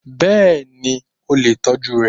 Bẹ́ẹ̀ni, o lè tọ́jú rẹ